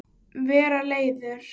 Vera leiður?